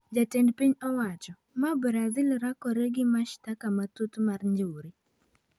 Jatend piny owacho ma Brazil rakore gi mashtaka mathoth mar njore